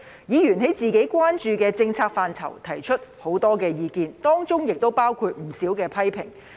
議員在自己關注的政策範疇提出很多意見，當中亦包括不少批評。